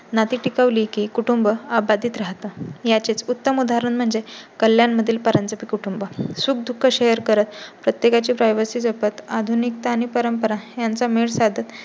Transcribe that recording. नाती टिकवली की कुटुंब अबाधित राहतात. याचे उत्तम उदाहरण म्हणजे कल्याण मधील परांजपें कुटुंब, सुख दुःख शेअर करत, प्रत्येकाची प्राइवेसी जपत, आधुनिकता आणि परंपरा यांचा मेळ साधत